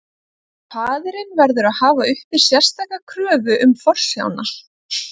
Faðirinn verður að hafa uppi sérstaka kröfu um forsjána.